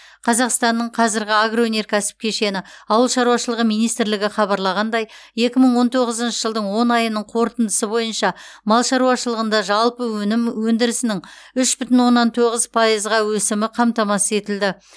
қазақстанның қазіргі агроөнеркәсіп кешені ауыл шаруашылығы министрлігі хабарлағандай екі мың он тоғызыншы жылдың он айының қорытындысы бойынша мал шаруашылығында жалпы өнім өндірісінің үш бүтін оннан тоғыз пайызға өсімі қамтамасыз етілді